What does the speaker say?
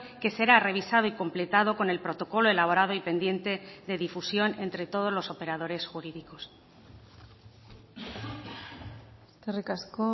que será revisado y completado con el protocolo elaborado y pendiente de difusión entre todos los operadores jurídicos eskerrik asko